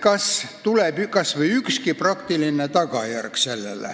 Kas tuleb kas või ükski praktiline tagajärg?